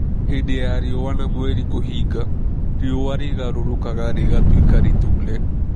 Hĩndĩ ya riũa na mweri kũhinga, riũa rĩgarũrũkaga rĩgatuĩka rĩtune.